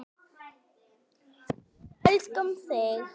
Við elskum þig!